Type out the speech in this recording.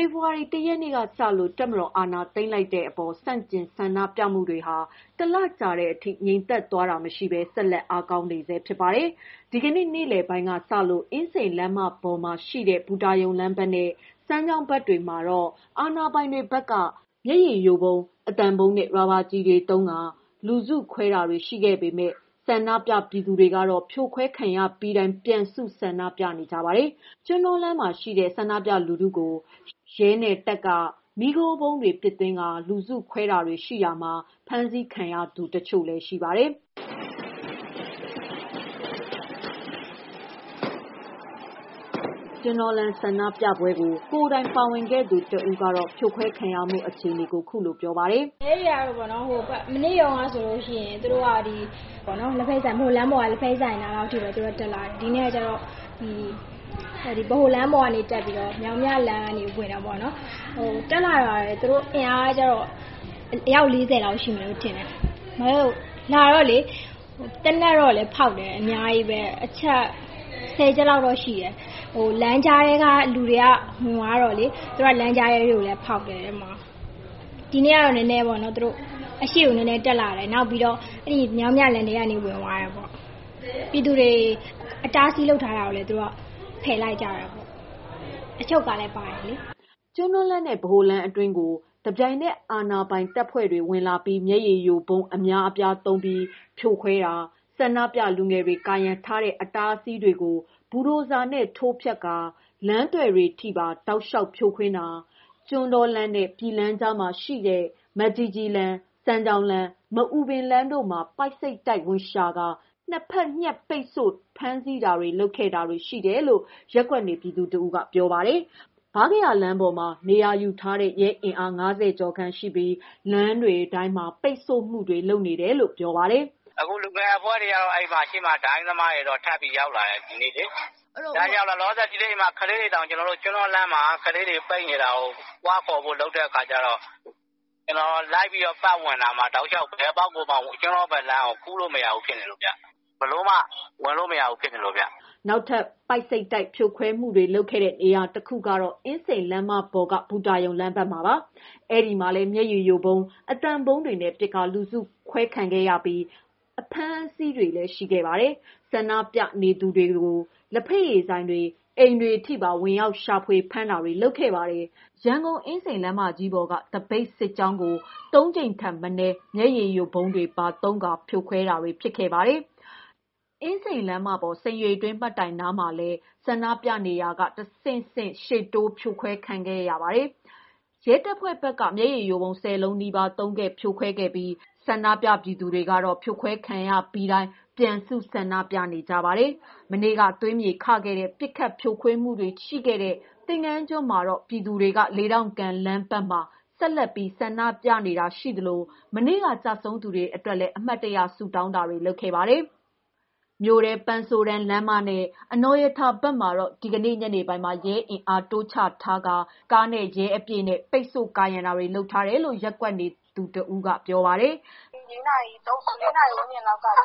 ေဖော်ဝါရီ ၁ ရက်နေ့ကစလို့ တပ်မတော်အာဏာသိမ်းလိုက်တဲ့ အပေါ် ဆန့်ကျင်ဆန္ဒပြမှု တွေဟာ ၁ လ ကြာတဲ့ အထိ ငြိမ်သက်သွားတာမရှိဘဲ ဆက်လက်အားကောင်းနေဆဲဖြစ် ပါတယ်။ ဒီကနေ့ နေ့လယ်ပိုင်းလောက်က စလို့ အင်းစိန်လမ်းမပေါ်မှာရှိတဲ့ ဘူတာရုံလမ်း ဘက်နဲ့ စမ်းချောင်းဘက်တွေမှာတော့ အာဏာပိုင်တွေဘက်က မျက်ရည်ယိုဗုံး၊ အသံဗုံးနဲ့ ရာဘာကျည်တွေ သုံးကာ လူစုခွဲတာတွေ ရှိခဲ့ပေမဲ့ ဆန္ဒပြ ပြည်သူတွေကတော့ ဖြိုခွဲခံရပြီးတိုင်း ပြန်စုဆန္ဒပြ နေကြပါတယ်။ ကျွန်းတောလမ်းရှိ ဆန္ဒပြလူစုအား ရဲနှင့်တပ်က မီးခိုးဗုံးများ ပစ်သွင်းပြီး လူစုဖြိုခွဲတာတွေရှိတာမှာ ဖမ်းဆီးခံရသူတချို့လည်းရှိပါတယ်။ ကျွန်းတောလမ်း ဆန္ဒပြပွဲမှာ ကိုယ်တိုင်ပါဝင်ခဲ့သူ တဦးက ဖြိုခွဲခံရမှုအခြေအနေကို ခုလိုပြောပြပါတယ်။ "ရဲတွေက မနေ့တုန်းကဆိုလို့ရှိရင် သူတို့က ဗဟိုလမ်းပေါ်က လက်ဖက်ရည်ဆိုင်နားလောက်ထိကိုပဲ တက်လာတယ်။ ဒီနေ့ကတော့ ဗဟိုလမ်းပေါ်ကနေတက်လာပြီးတော့ မြောင်းမြလမ်းပေါ်ထိ ဝင်တယ်ပေါ့နော်။ တက်လာတာ သူတို့ အင်အားက အယောက် ၄၀ လောက်ရှိမယ်ထင်တယ်။ လာတော့လေ... သေနတ်ကတော့လေ ဖောက်တယ် အများကြီးပဲ။ အချက် ၁၀ ချက်လောက်တော့ ရှိတယ်။ လမ်းကြားထဲက လူတွေက ဝင်သွားတော့လေ... လမ်းကြားထဲထိလည်း ဖောက်တယ်။ ဒီနေ့ကတော့ သူတို့ အရှေ့ကို နည်းနည်းတက်လာတယ်။ နောက်မြောင်းမြလမ်းထဲ ဝင်သွားတယ်ပေါ့။ ပြည်သူတွေ အတားအဆီး လုပ်တာလည်း ဖယ်လိုက်ကြတယ်။ အချုပ်ကားလည်း ပါတယ်လေ။" ကျွန်းတောလမ်းနဲ့ ဗဟိုလမ်းအတွင်းသို့ တစ်ပြိုင်နက် အာဏာပိုင်တပ်ဖွဲ့တွေ ဝင်လာပြီး မျက်ရည်ယိုဗုံး အများအပြားသုံးကာ ဖြိုခွဲတာ၊ ဆန္ဒပြလူငယ်တွေ ကာရံထားတဲ့ အတားအဆီးတွေကို ဘူဒိုဇာနဲ့ ထိုးဖျက်ကာ လမ်းသွယ်တွေထဲထိပါ တောက်လျှောက်ဖြိုခွင်းတာ၊ ကျွန်းတောလမ်းနဲ့ ပြည်လမ်းကြားမှာရှိတဲ့ မကြီးကြီးလမ်း၊ စမ်းချောင်းလမ်း၊ မအူပင်လမ်းတို့မှာ ပိုက်ဆိပ်တိုက်ဝင်ရှာကာ နှစ်ဘက်ညှပ်ပိတ်ဆို့ ဖမ်းဆီးတာတွေ၊ လုပ်ခဲ့တာတွေ ရှိတယ်လို့ ရပ်ကွက်နေပြည်သူ တဦးက ပြောပါတယ်။ ဗားကရာလမ်းပေါ်မှာ နေရာယူထားတဲ့ ရဲအင်အား ၅၀ ကျော်ခန့်ရှိပြီး လမ်းတွေတိုင်းမှာ ပိတ်ဆို့မှုတွေ လုပ်နေတယ်လို့ပြောပါတယ်။ "အခုတော့လူငယ်အဖွဲ့တွေက ရှေ့မှာ ဒိုင်းသမားတွေကတော့ ထပ်ပြီး ရောက်လာတယ် ဒီနေ့လေ။ လောလောဆယ် ကလေးတွေတောင် ကျွန်းတောလမ်းဘက်မှာ ကလေးတွေပိတ်နေလို့ သွားခေါ်ဖို့ လုပ်တဲ့အခါကျတော့ ကျနော်လိုက်ပြီး ပတ်ဝင်တာမှာ တောက်လျှောက် ဘယ်အပေါက်ကိုမှ ဝင်လို့မရဘူးဖြစ်နေလို့ဗျ။ ဘယ်လိုမှ ကျွန်းတောဘက်ခြမ်းကို ဘယ်လိုမှ ကူးဝင်လို့မရဘူး ပိတ်နေတယ်ခင်ဗျ။" နောက်ထပ်ပိုက်ဆိပ်တိုက် ဖြိုခွဲမှုတွေ လုပ်နေတဲ့ နေရာတခုကတော့ အင်းစိန်လမ်းမပေါ်က ဘူတာရုံ လမ်းဘက်မှာပါ။ အဲဒီမှာလည်း မျက်ရည်ယိုဗုံး၊ အသံဗုံးတွေနဲ့ ပစ်ကာ လူစုခွဲခဲ့ပြီး အဖမ်းအဆီးတွေလည်း ရှိခဲ့ပါတယ်။ ဆန္ဒပြနေသူများကို လက်ဖက်ရည်ဆိုင်များ၊ အိမ်များအထိ ပါဝင်ရောက်ရှာဖွေဖမ်းတာတွေလည်း လုပ်ခဲ့ပါတယ်။ ရန်ကုန်အင်းစိန်လမ်းမကြီးပေါ်က သပိတ်စစ်ကြောင်းကို သုံးကြိမ်ထက် မနည်း မျက်ရည်ယိုဗုံးတွေပါ သုံးခါဖြိုခွဲနေတာလည်းဖြစ်ပါတယ်။ အင်းစိန်လမ်းမပေါ် ဆင်ရေတွင်းမှတ်တိုင်နားမှာလည်း ဆန္ဒပြနေရာကနေ အဆင့်ဆင့်ရှေ့တိုး ဖြိုခွဲခံရခဲ့ပါတယ်။ ရဲတပ်ဖွဲ့ဘက်က မျက်ရည်ယိုဗုံး ၁၀ လုံးနီးပါး သုံးခဲ့ဖြိုခွဲခဲ့ပြီး ဆန္ဒပြ ပြည်သူတွေကတော့ ဖြိုခွဲခံရပြီးတိုင်း ပြန်စုဆန္ဒပြနေကြပါတယ်။ မနေ့ကသွေးမြေ ခခဲ့ရတဲ့ ပစ်ခတ်ဖြိုခွင်းမှုတွေ ရှိခဲ့တဲ့ သင်္ဃန်းကျွန်းမှာတော့ ပြည်သူတွေက လေးထောင့်ကန်လမ်းပေါ်မှာ ဆက်လက်ပြီး ဆန္ဒပြနေကြတာရှိသလို မနေ့က ကျဆုံး သူတွေအတွက်လည်း အမှတ်တရ ဆုတောင်းတာတွေ လုပ်ခဲ့ကြပါတယ်။ မြို့ထဲ ပန်းဆိုးတန်းလမ်းမနဲ့ အနော်ရထာဘက်မှာတော့ ဒီကနေ့ညနေပိုင်းမှာ ရဲအင်အားတိုးချထားပြီး ကားနဲ့ ရဲအပြည့်နဲ့ ပိတ်ဆို့ ကာရံတာတွေ လုပ်ထားတယ်လို့ ရပ်ကွက်နေသူတဦးကပြောပါတယ်။ "ညနေ ၄ နာရီဝန်းကျင်လောက်ကပေါ့...